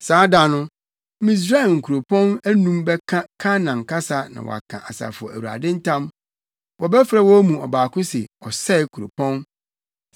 Saa da no, Misraim nkurɔpɔn anum bɛka Kanaan kasa na wɔaka Asafo Awurade ntam. Wɔbɛfrɛ wɔn mu ɔbaako se Ɔsɛe Kuropɔn.